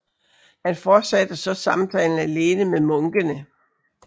Han fortsatte så samtalen alene med munkene